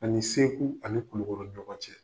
Ani Segu ani Kulukɔrɔ ni ɲɔgɔn cɛ.